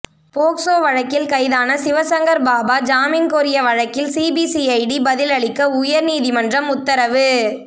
POCSO வழக்கில் கைதான சிவசங்கர் பாபா ஜாமீன் கோரிய வழக்கில் சிபிசிஐடி பதிலளிக்க உயர்நீதிமன்றம் உத்தரவு